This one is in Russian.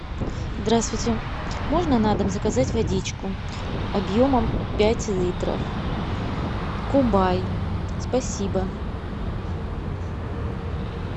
здравствуйте можно на дом заказать водичку объемом пять литров кубай спасибо